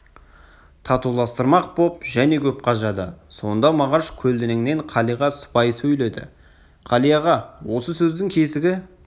татуластырмақ боп және көп қажады сонда мағаш көлденеңнен қалиға сыпайы сөйледі қали аға осы сөздің кесігі